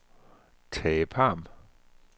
Tage Pham